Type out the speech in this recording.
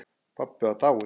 Pabbi var dáinn.